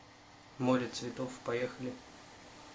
море цветов поехали